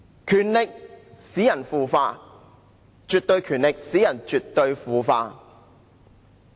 權力使人腐化，絕對權力使人絕對腐化。